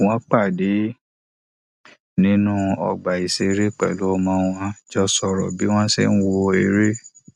wọn pàdé nínú ọgbà ìṣeré pẹlú ọmọ wọn jọ sọrọ bí wọn ṣe ń wo eré